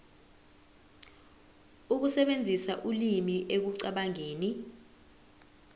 ukusebenzisa ulimi ekucabangeni